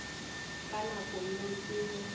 ka nako yeo ke ge